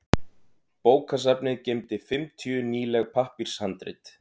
Bókasafnið geymdi fimmtíu nýleg pappírshandrit.